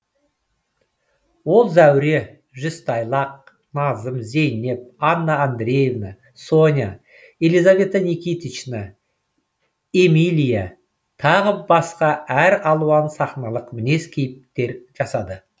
ол зәуре жүзтайлақ назым зейнеп анна андреевна соня елизавета никитична эмилия тағы басқа әр алуан сахналық мінез кейіптер жасады